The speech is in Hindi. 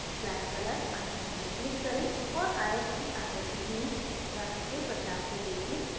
flat color icon पर click करें और आयत की आकृति में रंग के बदलाव को देखें